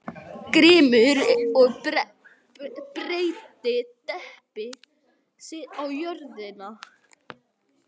Grímur og breiddi teppi sitt á jörðina.